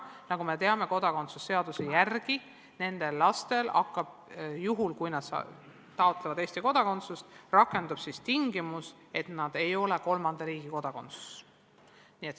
Ja nagu me teame, kodakondsuse seaduse alusel rakendub nende laste puhul, juhul kui nad taotlevad Eesti kodakondsust, tingimus, et nad ei ole kolmanda riigi kodanikud.